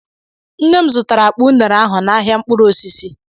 Nne m zụtara akpa unere ahụ n'ahịa mkpụrụ osisi